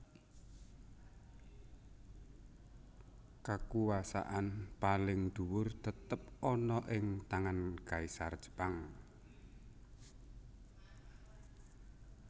Kakuwasaan paling dhuwur tetep ana ing tangan Kaisar Jepang